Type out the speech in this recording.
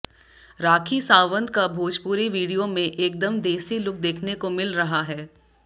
राखी सावंत का भोजपुरी वीडियो में एकदम देसी लुक देखने को मिल रहा है